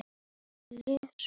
Mummi kom til mín í